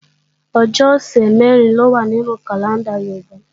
Ọjọ́ ọ̀sẹ̀ mẹ̀rin ló wá nínú kàlẹ́ndà Yorùbá